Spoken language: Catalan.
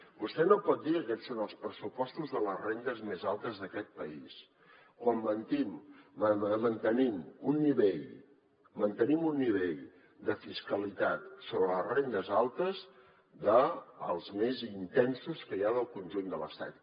vostè no pot dir que aquests són els pressupostos de les rendes més altes d’aquest país quan mantenim un nivell de fiscalitat sobre les rendes altes dels més intensos que hi ha del conjunt de l’estat